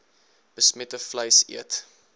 besmette vleis eet